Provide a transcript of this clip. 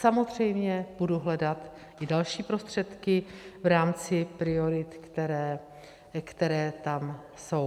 Samozřejmě budu hledat i další prostředky v rámci priorit, které tam jsou.